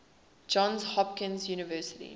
johns hopkins university